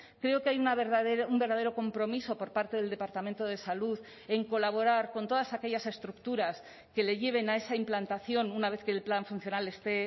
creo que hay un verdadero compromiso por parte del departamento de salud en colaborar con todas aquellas estructuras que le lleven a esa implantación una vez que el plan funcional esté